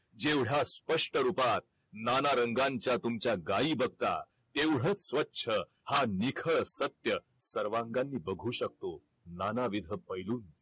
जेवढ्या स्पष्ट रुपात नाना रंगांच्या तुमच्या गाई बघता तेवढाच स्वच्छ हा निखळ सत्य सर्वांगांनी बघू शकतो नानविध पैलूंनी